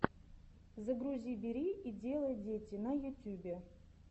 загрузи бери и делай дети на ютьюбе